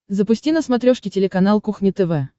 запусти на смотрешке телеканал кухня тв